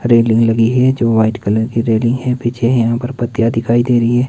Railing लगी है जो वाइट कलर की रेलिंग है पीछे यहां पर पट्टियां दिखाई दे रही है।